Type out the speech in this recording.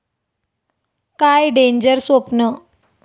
काय डेंजर स्वप्न!